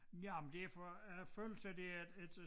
Men ja det for at følelse af det er et øh